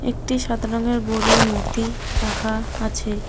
একটি সাদা রঙের গরুর মূর্তি রাখা আছে।